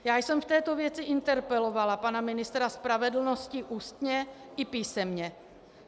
Já jsem v této věci interpelovala pana ministra spravedlnosti ústně i písemně.